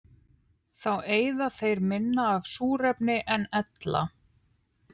Þá eyða þeir minna af súrefni en ella.